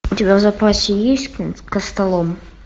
у тебя в запасе есть костолом